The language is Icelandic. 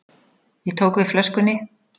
Ég tók við flöskunni.